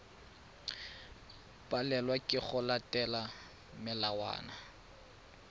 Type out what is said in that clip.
palelwa ke go latela melawana